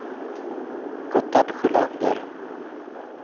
Gotthard Sjölander